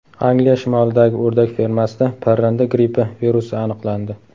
Angliya shimolidagi o‘rdak fermasida parranda grippi virusi aniqlandi.